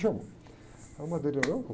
Aí o, eu vou.